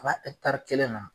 Kaba kelen na.